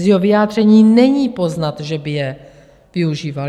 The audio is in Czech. Z jeho vyjádření není poznat, že by je využíval.